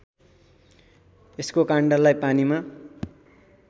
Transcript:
यसको काण्डलाई पानीमा